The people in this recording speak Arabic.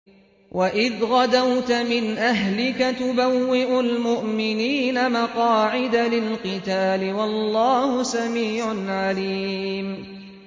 وَإِذْ غَدَوْتَ مِنْ أَهْلِكَ تُبَوِّئُ الْمُؤْمِنِينَ مَقَاعِدَ لِلْقِتَالِ ۗ وَاللَّهُ سَمِيعٌ عَلِيمٌ